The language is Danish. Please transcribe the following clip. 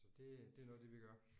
Så det det er noget af det vi gør